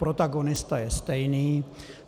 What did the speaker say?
Protagonista je stejný.